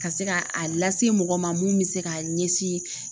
Ka se ka a lase mɔgɔ ma mun bɛ se k'a ɲɛsin